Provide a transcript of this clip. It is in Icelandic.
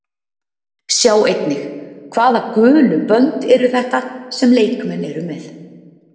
Sjá einnig: Hvaða gulu bönd eru þetta sem leikmenn eru með?